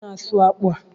Kedu onye na-asụ akpụ a?